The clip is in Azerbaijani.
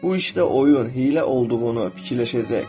Bu işdə oyun, hiylə olduğunu fikirləşəcək.